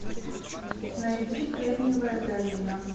найди кремниевая долина